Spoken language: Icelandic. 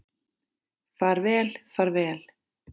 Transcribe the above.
Far vel far vel.